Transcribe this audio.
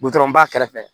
ba kɛrɛfɛ